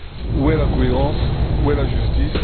Où est la cohérence, où est la justice?